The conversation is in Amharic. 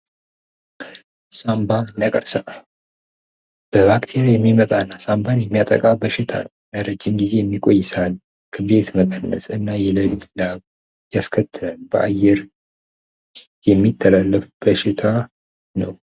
ሳምባ ነቀርሳ በባክቴራያ የሚመጣ እና ሳንባን የሚያጠቃ በሽታ ነው ለረጅም ግዜ የሚቆይበት ሳል ክብደት መቀነስ እና የለሊት ላብ ያስከትላል በአየር የሚተላለፍ በሽታ ነው።